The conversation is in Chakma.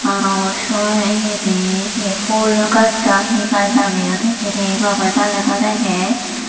aro syo iyedi he he phool gaj na he gaj lageyun hijeni gomey daley naw degey.